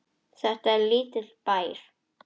Þetta er lítill bær.